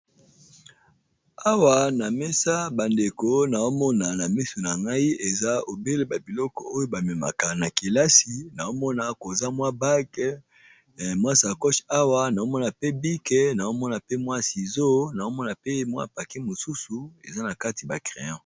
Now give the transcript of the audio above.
Awa na mesa bandeko na omona na miso na ngai eza obele ba biloko oyo bamemaka na kelasi, na omona koza mwa bag mwa sacoch awa naomona pe bike, naomona pe mwa sizo naomona pe mwa pake mosusu eza na kati ba crayon.